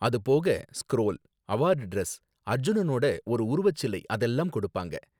அது போக scroll, award dress, அர்ஜுனனோட ஒரு உருவச் சிலை அதெல்லாம் கொடுப்பாங்க